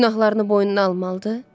Günahlarını boynuna almalıdır?